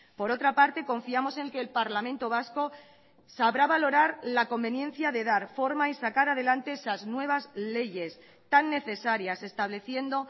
por otra parte confiamos en que el parlamento vasco sabrá valorar la conveniencia de dar forma y sacar adelante esas nuevas leyes tan necesarias estableciendo